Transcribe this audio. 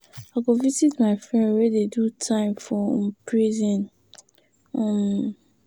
I go visit my friend wey dey do time for um prison. um